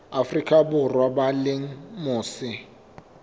afrika borwa ba leng mose